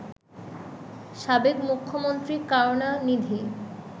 সাবেক মুখ্যমন্ত্রী কারুনানিধি